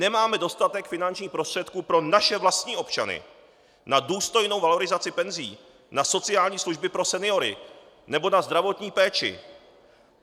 Nemáme dostatek finančních prostředků pro naše vlastní občany na důstojnou valorizaci penzí, na sociální služby pro seniory nebo na zdravotní péči!